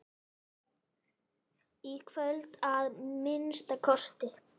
Í kvöld, að minnsta kosti.